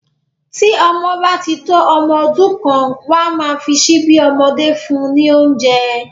Tí ọmọ bá tí tó ọmọ ọdún kan, wọn a máa fi síbí ọmọdé fún un ní oúnjẹ